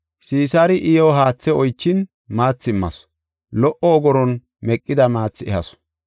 Sisaari iyo haathe oychin maathi immasu; lo77o ogoron meqida maathi ehasu.